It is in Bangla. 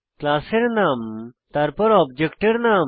ক্লাসের নাম তারপর অবজেক্টের নাম